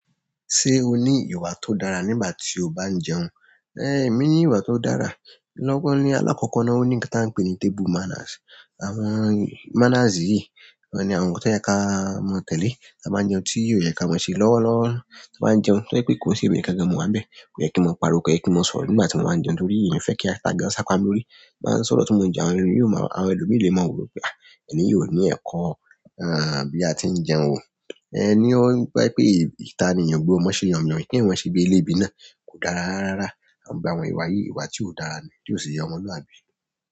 Ṣé o ní ìwà tó dára nígbà tí o bá ń jẹun? Èmi ní ìwà tó dára lọ́wọ́ ńlá alákọ̀kọ́ náà ó ní kí n ta ń pe ní table manners. Àwọn manners yìí ni àwọn ohun tó yẹ ká mọ tẹ́lẹ̀ tí a bá ń jẹun, tí yẹ ká má ṣe lọ́wọ́lọ́wọ́ tí a bá ń jẹun. Kí ó ṣe wípé kí n ṣe kẹ́kẹ́ mọ́wà bẹ́ẹ̀, kò yẹ kí mọ́ parọ́, kò yẹ kí mọ́ sọ̀rọ̀ nígbà tí mo máa ń jẹun nítorí ìyẹn fẹ́ kí ata gán sápá lórí. Bí a bá ń sọ̀rọ̀ tí mo ń jẹun, àwọn ẹlòmíràn lè mọ wípé, "à, ẹni yìí ò ní ẹ̀kọ́, à, bí a tí ń jẹun." Ẹni ó wípé ìta ènìyàn gbogbo má ṣe yànmọ̀yán kí wọ́n sì gbé ilé bí náà kò dára rárá. A ń gbé àwọn ìwà yìí, ìwà tí ó dára ní, tí ó sì yẹ ọmọlúwàbí.